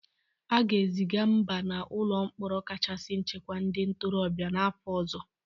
A ga-eziga Mba na n'ụlọ mkpọrọ kachasị nchekwa ndị ntorobịa n'afọ ọzọ.